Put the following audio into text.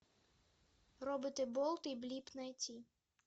роботы болт и блип найти